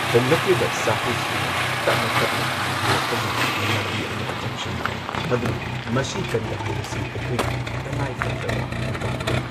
ꯍꯣꯡꯂꯛꯂꯤꯕ ꯁꯥꯐꯨꯁꯤꯡꯅ ꯇꯞꯅ ꯇꯞꯅ ꯃꯥꯡꯍꯜꯂꯛꯄꯒꯤ ꯂꯝꯕꯤ ꯑꯃꯗ ꯆꯪꯁꯤꯜꯂꯤ ꯃꯗꯨꯅ ꯃꯁꯤ ꯀꯟꯕ ꯍꯥꯏꯕꯁꯤ ꯑꯩꯈꯣꯏꯒꯤ ꯇꯉꯥꯏꯐꯗ꯭ꯔꯕ ꯊꯧꯗꯥꯡ ꯑꯃꯅꯤ꯫